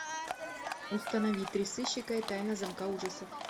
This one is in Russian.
установи три сыщика и тайна замка ужасов